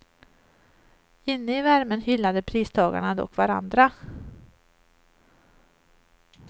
Inne i värmen hyllade pristagarna dock varandra.